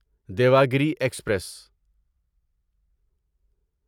Devagiri express